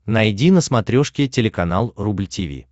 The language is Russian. найди на смотрешке телеканал рубль ти ви